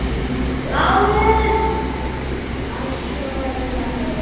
LÁRUS: Aðstoða mig!